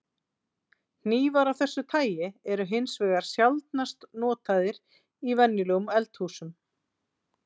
Hnífar af þessu tagi eru hins vegar sjaldnast notaðar í venjulegum eldhúsum.